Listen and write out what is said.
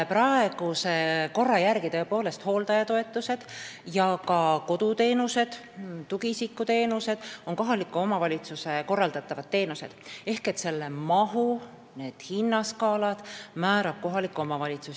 Praeguse korra järgi on hooldajatoetused ja ka koduteenused, tugiisikuteenused tõepoolest kohaliku omavalitsuse pädevuses ehk need mahud ja hinnaskaalad määrab kohalik omavalitsus.